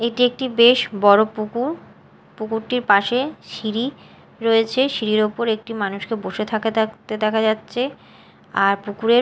এটি একটি বেশ বড় পুকুর পুকুরটির পাশে সিঁড়ি রয়েছে সিঁড়ির ওপর একটি মানুষকে বসে থাকে থাকতে দেখা যাচ্ছে আর পুকুরের--